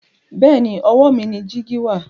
bẹẹni owó mí ní jìgì wà.